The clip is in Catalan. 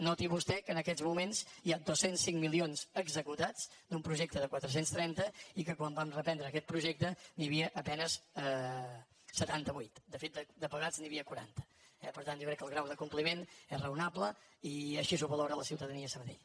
noti vostè que en aquests moments hi ha dos cents i cinc milions executats d’un projecte de quatre cents i trenta i que quan vam reprendre aquest projecte n’hi havia a penes setanta vuit de fet de pagats n’hi havia quaranta eh per tant jo crec que el grau de compliment és raonable i així ho valora la ciutadania a sabadell